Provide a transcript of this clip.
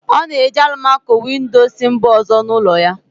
Ọ na-eji alụmaco-windo si mba ọzọ n'ụlọ ya